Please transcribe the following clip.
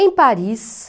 Em Paris...